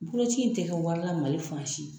Boloci in tɛ kɛ wari la Mali fan si.